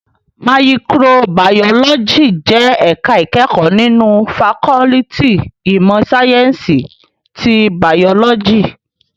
Màyìkróbàyólòjí jè èká ikèékò ninú fàkòliti imò sáyènsí ti bàyólòjí